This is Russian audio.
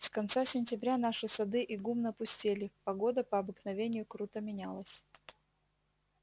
с конца сентября наши сады и гумна пустели погода по обыкновению круто менялась